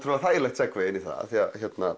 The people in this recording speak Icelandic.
þægilegt segway inn í það því